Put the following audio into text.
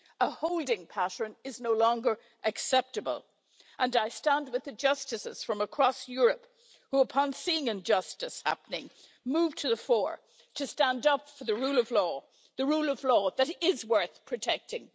A holding pattern is no longer acceptable, and I stand with the Justices from across Europe who, upon seeing and injustice happening, move to the fore to stand up for the rule of law the rule of law that is worth protecting.